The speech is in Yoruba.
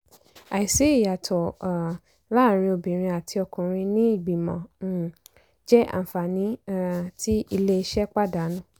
àìsí ìyàtọ̀ um láàárín obìnrin àti ọkùnrin ní ìgbìmọ̀ um jẹ́ àǹfààní um tí iléeṣẹ́ pàdánù.